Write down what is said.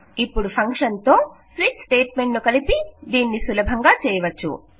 ఇపుడు ఫంక్షన్ తో switch statement ను కలిపి దీనిని సులభంగా చేయవచ్చు